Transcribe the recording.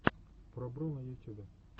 пробро на ютюбе